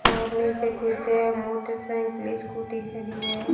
और नीचे कुछ मोटरसाइकिले स्कूटी खड़ी है।